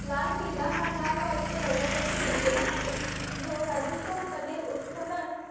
लाल किल्ला हा लाल वाळूच्या दगड बनलेला आहे जो राजस्थान मध्ये उत्खनन